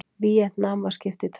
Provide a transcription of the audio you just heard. Víetnam var skipt í tvennt.